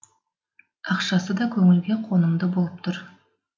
ақшасы да көңілге қонымды болып тұр